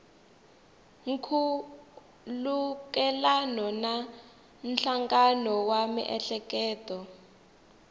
nkhulukelano na nhlangano wa miehleketo